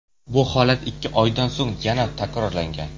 Bu holat ikki oydan so‘ng yana takrorlangan.